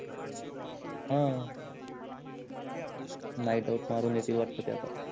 ह मारून येतील वाटते ते आता